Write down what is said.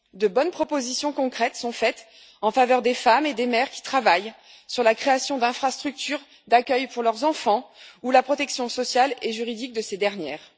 De bonnes propositions concrètes sont faites en faveur des femmes et des mères qui travaillent, sur la création d'infrastructures d'accueil pour leurs enfants ou la protection sociale et juridique de ces dernières.